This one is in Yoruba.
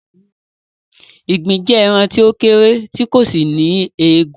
Ìgbín jẹ́ ẹran tí ó kéré tì kò sì ní egun